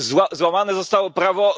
Złamane zostało prawo.